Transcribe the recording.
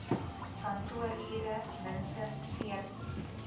kantoorure minstens veertien